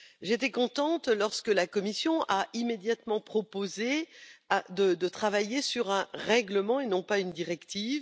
J'étais contente lorsque la Commission a immédiatement proposé de travailler sur un règlement, et non une directive.